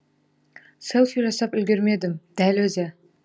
селфи жасап үлгермедім дәл өзі